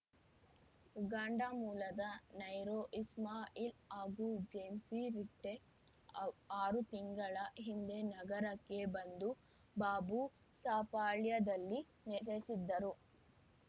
Uganda ಮೂಲದ Nairo Ismail ಹಾಗೂ ಜೇಮ್ಸಿ ರಿಟ್ಟೆ ಆವ್ ಆರು ತಿಂಗಳ ಹಿಂದೆ ನಗರಕ್ಕೆ ಬಂದು ಬಾಬುಸಾಪಾಳ್ಯದಲ್ಲಿ ನೆಲೆಸಿದ್ದರು